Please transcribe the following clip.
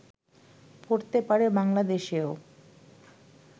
পড়তে পারে বাংলাদেশেও